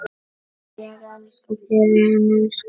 Ég elska þig, vinur minn.